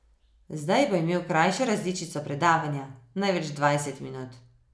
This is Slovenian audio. Zdaj bo imel krajšo različico predavanja, največ dvajset minut.